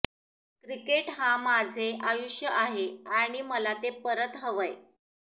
cricket हा माझे आयुष्य आहे आणि मला ते परत हवंय